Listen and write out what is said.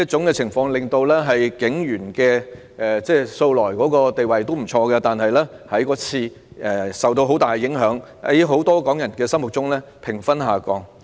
警隊的地位素來不錯，但自此卻受到很大影響，在很多港人心目中的評分下降。